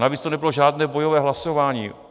Navíc to nebylo žádné bojové hlasování.